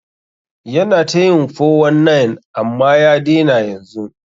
Yana ta yin 419 amman ya daina yanzun.